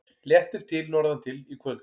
Léttir til norðantil í kvöld